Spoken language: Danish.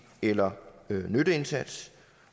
eller nytteindsats